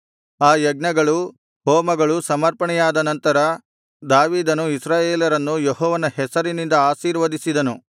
ಆ ಯಜ್ಞಗಳು ಹೋಮಗಳು ಸಮರ್ಪಣೆಯಾದ ನಂತರ ದಾವೀದನು ಇಸ್ರಾಯೇಲರನ್ನು ಯೆಹೋವನ ಹೆಸರಿನಿಂದ ಆಶೀರ್ವದಿಸಿದನು